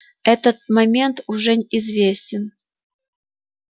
этот момент уже известен